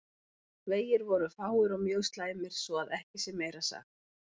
Vegir voru fáir og mjög slæmir svo að ekki sé meira sagt.